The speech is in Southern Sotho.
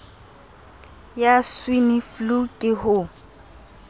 ya swine flu ke ho